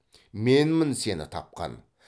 менмін сені тапқан